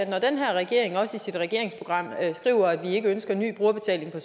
når den her regering også i sit regeringsprogram skriver at vi ikke ønsker en ny brugerbetaling på